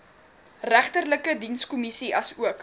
regterlike dienskommissie asook